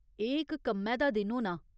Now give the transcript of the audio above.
एह् इक कम्मै दा दिन होना।